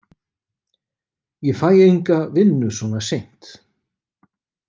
Ég fæ enga vinnu svona seint.